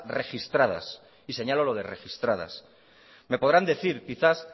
registradas y señalo lo de registradas me podrán decir quizás